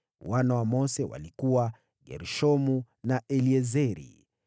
Wana wa Mose walikuwa: Gershomu na Eliezeri.